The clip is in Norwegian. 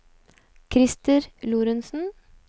Christer Lorentzen